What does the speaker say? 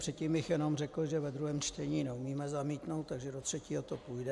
Předtím bych jenom řekl, že ve druhém čtení neumíme zamítnout, takže do třetího to půjde.